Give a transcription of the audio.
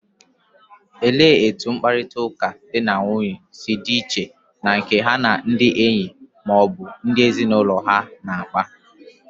Olee otú mkparịta ụka di na nwunye si dị iche na nke ha na ndị enyi ma ọ bụ ndị ezinụlọ ha na-akpa?